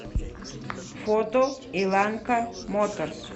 фото иланка моторс